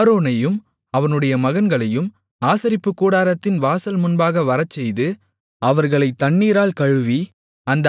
ஆரோனையும் அவனுடைய மகன்களையும் ஆசரிப்புக்கூடாரத்தின் வாசல் முன்பாக வரச்செய்து அவர்களைத் தண்ணீரால் கழுவி